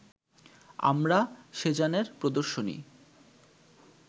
আমরা সেজানের প্রদর্শনী